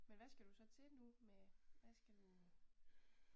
Men hvad skal du så til nu med hvad skal du?